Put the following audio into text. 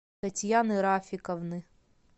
татьяны рафиковны